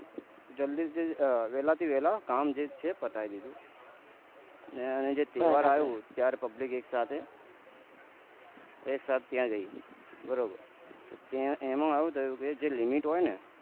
જલ્દી થી વેલા થી વેહલા કામ છે પતાયી દીધું ને જે તહેવાર આયો ત્યારે public એક સાથે એક સાથે ત્યાં ગયું બરોબર એનું આવું થયું કે જે limit હોય ને